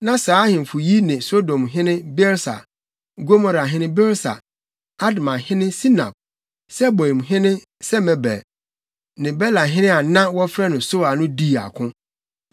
na saa ahemfo yi ne Sodomhene Birsa, Gomorahene Birsa, Admahene Sinab, Seboimhene Semeber ne Belahene a na wɔfrɛ no Soar no dii ako.